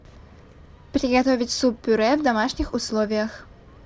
приготовить суп пюре в домашних условиях